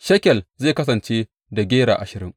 Shekel zai kasance da gera ashirin.